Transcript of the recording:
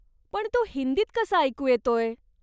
पण तो हिंदीत कसा ऐकू येतोय?